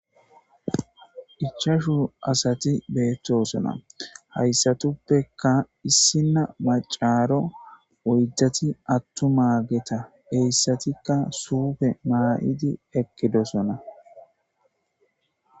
ichashu asati beettosona hayssatuppeka issinna macaaro oyddati attu mageta heyssatikka suufe mala7idi ekkidosona